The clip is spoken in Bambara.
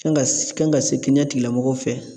Kan ka s kan ka se kɛnɛya tigilamɔgɔw fɛ